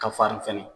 Ka farin fɛnɛ